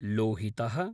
लोहितः